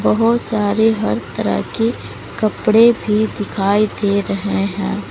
बहोत सारे हर तरह के कपड़े भी दिखाई दे रहे हैं।